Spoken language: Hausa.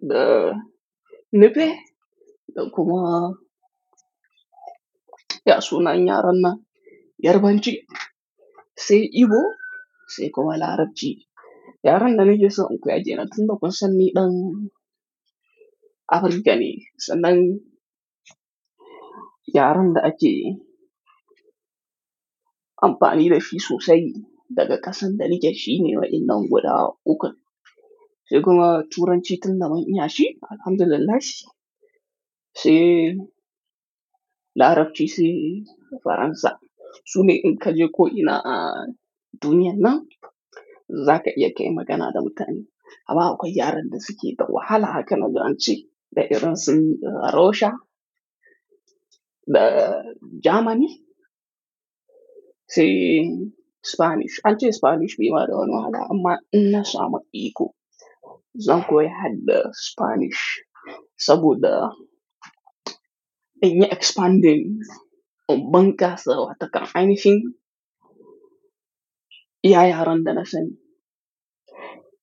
da Nufe, da kuma ya sunan yaren nan Yarbanci, sai Igbo, sai kuma Larabci. Yaren dana ke son in koya kenan tunda kunsan ni ɗan Africa ne, sannan yaren da ake amfani da shi sosai daga ƙasan da nake shi ne waɗannan guda uku. Sai kuma Turanci tun da mun iyi shi, alhamdulillahi. Sai Larabci, sai Faransa. Sune in ka je ko ina a duniya nan, za ka iya kai magana da mutane. Amma akwai yaren da suke da wahala haka naji don ance, da Iran sun, da Russia, da Germany, sai Spanish. An ce Spanish bai ma da wani wahala, amma in na samu iko, zan koya har da Spanish. Saboda in yi expanding, in bunƙasa wa takan aini hin shi, iya yaren da na sani.